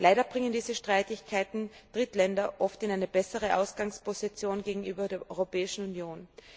Leider bringen diese Streitigkeiten Drittländer oft in eine bessere Ausgangsposition gegenüber der Europäischen Union.